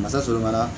Masa sɔrɔ la